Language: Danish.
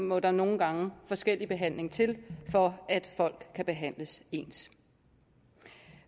må der nogle gange forskellig behandling til for at folk bliver behandlet ens